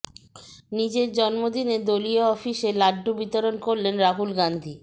নিজের জন্মদিনে দলীয় অফিসে লাড্ডু বিতরণ করলেন রাহুল গান্ধী